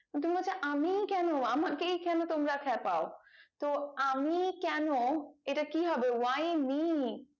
তো তুমি বলছো আমিই কেন আমাকেই তোমরা খ্যাপাও তো আমিই কেন এটা কি হবে why me